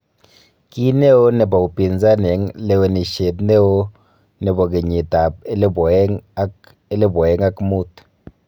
Kineo nebo upinzani en lewenisien neo nebo keyiit ab 2000 ak 2005.